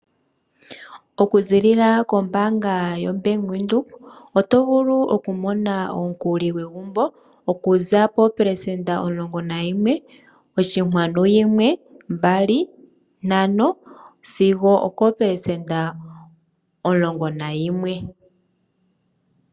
Okuziilila kombaanga yaVenduka otovulu okumona omukuli gwegumbo okuza poopelesenda omulongo nayimwe oshikwanu yimwe , mbali ,ntano sigo okoopelesenda omulongo nayimwe.